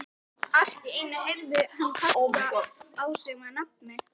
Allt í einu heyrði hann kallað á sig með nafni.